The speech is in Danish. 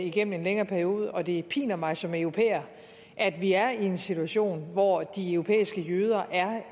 igennem en længere periode og det piner mig som europæer at vi er i en situation hvor de europæiske jøder er